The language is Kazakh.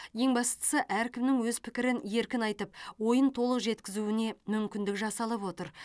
ең бастысы әркімнің өз пікірін еркін айтып ойын толық жеткізуіне мүмкіндік жасалып отыр